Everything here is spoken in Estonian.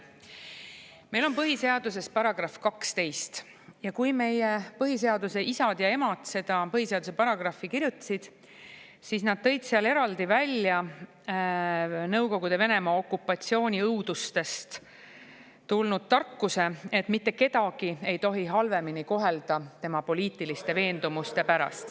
Meil on põhiseaduses § 12 ja kui meie põhiseaduse isad ja emad seda põhiseaduse paragrahvi kirjutasid, siis nad tõid seal eraldi välja Nõukogude Venemaa okupatsiooni õudustest tulnud tarkuse, et mitte kedagi ei tohi halvemini kohelda tema poliitiliste veendumuste pärast.